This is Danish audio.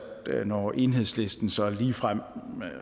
det når enhedslisten så ligefrem